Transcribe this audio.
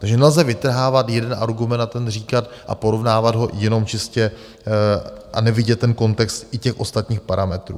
Takže nelze vytrhávat jeden argument a ten říkat a porovnávat ho jenom čistě a nevidět ten kontext i těch ostatních parametrů.